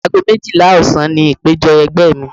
Ago méjìlá ọ̀sán ni ìpéjọ ẹgbẹ́ mi.